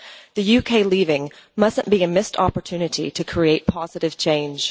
The UK leaving must not be a missed opportunity to create positive change.